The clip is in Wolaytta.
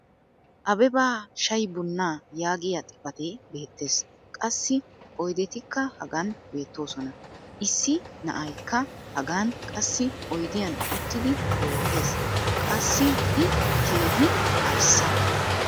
Abebba shayi bunaa yaagiya xifatee beetees. Qassi oydettikka hagan beetoosona. Issi na'aykka hagan qassi oydiyan uttidi beetees. Qassi i keehi arssa.